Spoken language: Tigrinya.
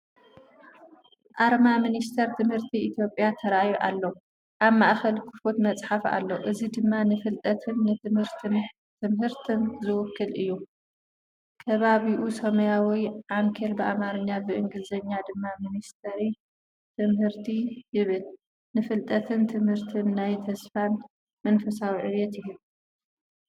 ኣርማ ሚኒስትሪ ትምህርቲ ኢትዮጵያ ተራእዩ ኣሎ። ኣብ ማእከል ክፉት መጽሓፍ ኣሎ፣ እዚ ድማ ንፍልጠትን ትምህርትን ትምህርትን ዝውክል እዩ። ከባቢኡ ሰማያዊ ዓንኬል ብኣምሓርኛ ብእንግሊዝኛ ድማ “ሚኒስትሪ ትምህርቲ” ይብል። ንፍልጠትን ትምህርትን ናይ ተስፋን መንፈሳዊ ዕብየትን ይህብ ።